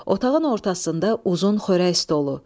Otağın ortasında uzun xörək stolu.